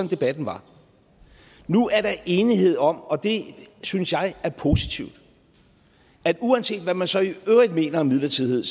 debatten var nu er der enighed om og det synes jeg er positivt at uanset hvad man så i øvrigt mener om midlertidighed